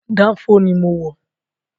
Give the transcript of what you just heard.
Dánfó ni mo wọ̀